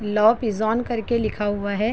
लौ पीजोन करके लिखा हुआ है।